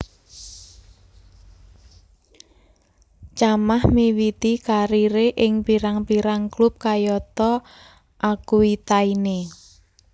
Chamakh miwiti kariré ing pirang pirang klub kayata Aquitaine